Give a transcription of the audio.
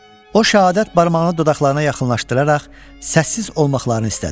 O şəhadət barmağını dodaqlarına yaxınlaşdıraraq səssiz olmaqlarını istədi.